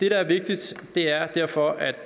er vigtigt er derfor at